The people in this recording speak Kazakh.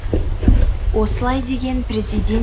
осылай деген президент